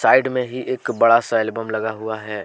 Side में ही एक बड़ा सा एलबम लगा हुआ है।